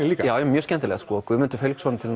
líka mjög skemmtilegt Guðmundur Hauksson